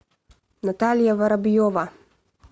наталья воробьева